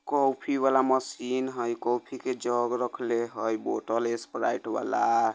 कॉफी वला मशीन है कॉफी के जग रखले है बोतल स्प्राइट वला --